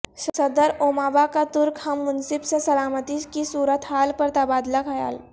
صدر اوباما کا ترک ہم منصب سے سلامتی کی صورت حال پر تبادلہ خیال